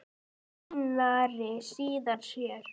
Einari, síðan sér.